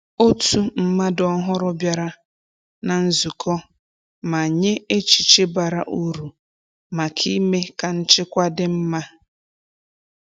Otu mmadụ ọhụrụ bịara na nzukọ ma nye echiche bara uru maka ime ka nchekwa dị mma.